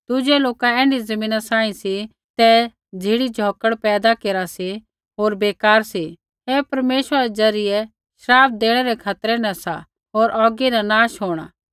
दुज़ै लोक ऐण्ढी ज़मीना सांही सी सौ ज़िढ़ी झ़ौकड़ पैदा केरा सा होर बेकार सा ऐ परमेश्वरा रै ज़रियै श्राप देणै रै खतरै न सा होर औगी ना नाश होंणा